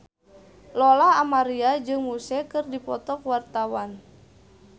Lola Amaria jeung Muse keur dipoto ku wartawan